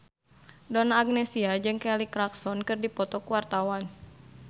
Donna Agnesia jeung Kelly Clarkson keur dipoto ku wartawan